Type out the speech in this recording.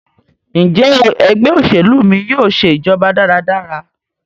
Njé Ẹgbẹ́ òṣèlú mí yóò ṣe ìjọba dára dára?